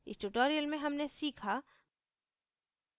इस tutorial में हमने सीखा